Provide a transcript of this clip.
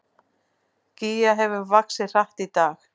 Gígja hefur vaxið hratt í dag